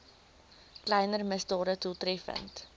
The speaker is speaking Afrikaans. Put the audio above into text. kleiner misdade doeltreffend